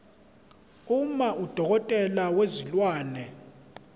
uma udokotela wezilwane